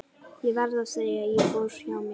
Ég verð að segja að ég fór hjá mér.